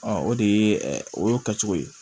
o de ye o y'o kɛcogo ye